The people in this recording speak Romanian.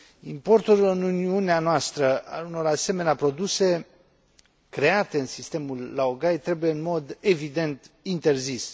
Importul în Uniunea noastră a unor asemenea produse create în sistemul laogai trebuie în mod evident interzis.